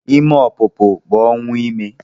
Ime ọpụpụ bụ ọnwụ ime